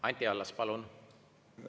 Anti Allas, palun!